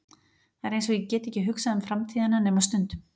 Það er einsog ég geti ekki hugsað um framtíðina nema stundum.